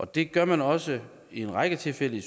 det gør man også i en række tilfælde i